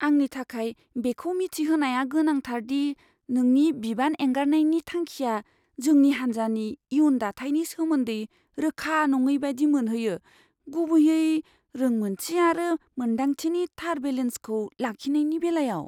आंनि थाखाय बेखौ मिथिहोनाया गोनांथार दि नोंनि बिबान एंगारनायनि थांखिआ जोंनि हानजानि इयुन दाथायनि सोमोन्दै रोखा नङै बायदि मोनहोयो, गुबैयै रोंमोन्थि आरो मोन्दांथिनि थार बेलेन्सखौ लाखिनायनि बेलायाव।